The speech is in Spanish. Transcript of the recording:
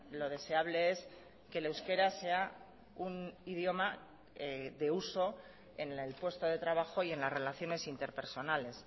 lo deseable es que el euskera sea un idioma de uso en el puesto de trabajo y en las relaciones interpersonales